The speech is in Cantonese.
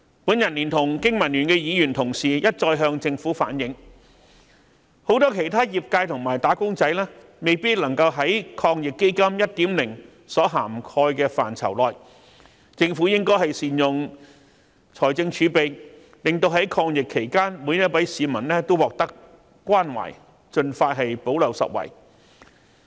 我聯同經民聯的議員同事一再向政府反映，很多其他業界和"打工仔"未有納入抗疫基金 1.0 所涵蓋的範疇內，政府應該善用財政儲備，在抗疫期間令每位市民也獲得關懷，盡快補漏拾遺。